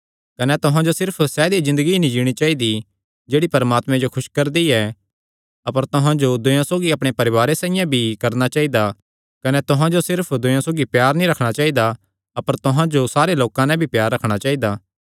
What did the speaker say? कने तुहां जो सिर्फ सैदई ज़िन्दगी ई नीं जीणी चाइदी जेह्ड़ी परमात्मे जो खुस करदी ऐ अपर तुहां जो दूयेयां सौगी अपणे परवारे साइआं प्यार भी करणा चाइदा कने तुहां जो सिर्फ दूयेयां सौगी प्यार नीं रखणा चाइदा अपर तुहां जो सारे लोकां नैं भी प्यार रखणा चाइदा